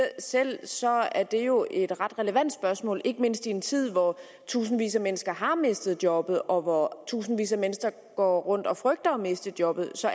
selv siger er det jo et ret relevant spørgsmål ikke mindst i en tid hvor tusindvis af mennesker har mistet jobbet og hvor tusindvis af mennesker går rundt og frygter at miste jobbet så